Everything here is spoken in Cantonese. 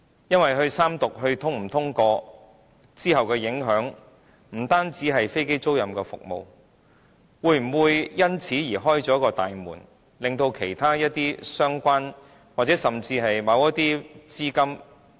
因為三讀《條例草案》是否通過，往後的影響不單是飛機租賃服務，會否因此而開了大門，令其他一些相關，甚至某些資金......